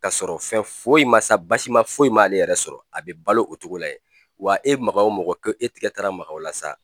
Ka sɔrɔ fɛn foyi ma sa basi ma foyi m'ale yɛrɛ sɔrɔ a be balo o togo la yen wa e ma ga o mɔgɔ ko e tigɛ taara maga o la sa